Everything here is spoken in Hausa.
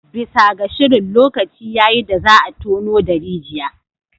Bisa ga shirin, lokaci ya yi da za a tono da rijiya